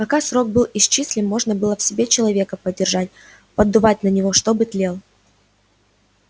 пока срок был исчислим можно было в себе человечка поддерживать поддувать на него чтобы тлел